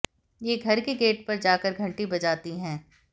ये घर के गेट पर जाकर घंटी बजाती हैं